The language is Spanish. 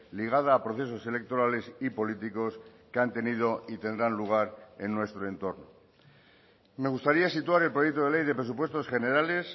ligada a procesos electorales y políticos que han tenido y tendrán lugar en nuestro entorno me gustaría situar el proyecto de ley de presupuestos generales